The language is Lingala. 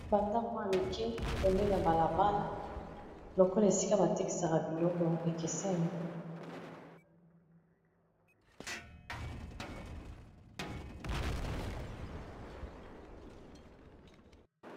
Bandamwa ya mike peme na balabala lokola esika batekta ya biloko ekeseni.